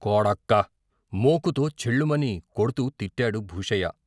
కొడకా మోకుతో ఛ్ఛేళ్ళుమని కొడ్తూ తిట్టాడు భూషయ్య.